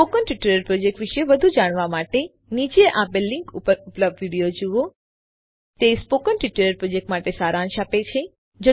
spoken tutorial project વિષે વધુ જાણવા માટે નીચે આપેલ લીનક ઉપર ઉપલબ્ધ વિડીઓ જુઓ તે સ્પોકન ટ્યુટોરીયલ પ્રોજેક્ટ માટે સારાંશ આપે છે